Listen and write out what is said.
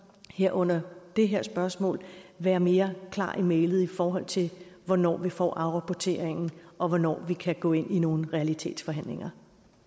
her under det her spørgsmål være mere klar i mælet i forhold til hvornår vi får afrapporteringen og hvornår vi kan gå ind i nogle realitetsforhandlinger